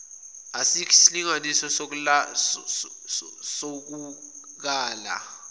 asikho isilinganiso sokukala